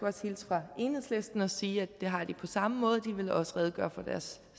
også hilse fra enhedslisten og sige at de har det på samme måde så de vil også redegøre for deres